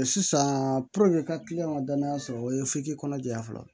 Sisan i ka ka danaya sɔrɔ o ye f'i k'i kɔnɔ jɛya fɔlɔ